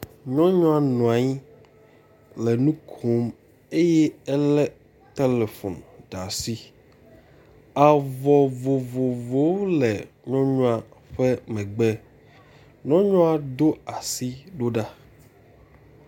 Nyɔnua nɔ anyi le nu kom ye elé telefom ɖe asi. Avɔ vovovowo le nyɔnua ƒe megbe, nyɔnua do asi ɖo ɖa.